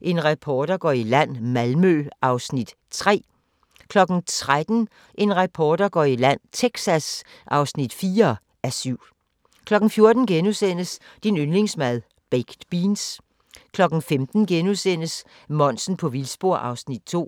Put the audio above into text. En reporter går i land: Malmø (3:7)* 13:00: En reporter går i land: Texas (4:7) 14:00: Din yndlingsmad: Baked beans * 15:00: Monsen på vildspor (2:5)*